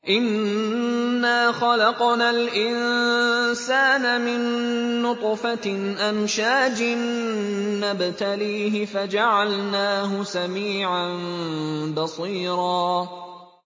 إِنَّا خَلَقْنَا الْإِنسَانَ مِن نُّطْفَةٍ أَمْشَاجٍ نَّبْتَلِيهِ فَجَعَلْنَاهُ سَمِيعًا بَصِيرًا